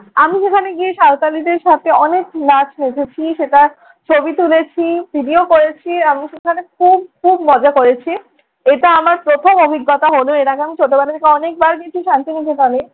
আমি সেখানে গিয়ে সাঁওতালিদের সাথে অনেক নাচ নেচেছি, সেটার ছবি তুলেছি, ভিডিও করেছি। আমি সেখানে খুব খুব মজা করেছি। এটা আমার প্রথম অভিজ্ঞতা হল। এর আগে আমি ছোটবেলায় অনেকবার গিয়েছি শান্তি নিকেতনে।